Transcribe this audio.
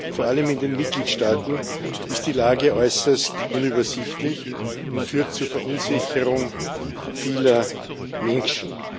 Vor allem in den Mitgliedstaaten ist die Lage äußerst unübersichtlich und führt zur Verunsicherung vieler Menschen.